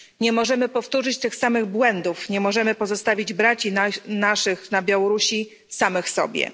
Nie możemy powtórzyć tych samych błędów, nie możemy pozostawić braci naszych na Białorusi samym sobie.